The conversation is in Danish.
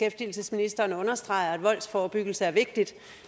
ministeren understreger at voldsforebyggelse er vigtigt